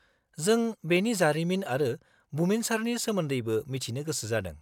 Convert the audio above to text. -जों बेनि जारिमिन आरो बुमिनसारनि सोमोन्दैबो मिथिनो गोसो जादों।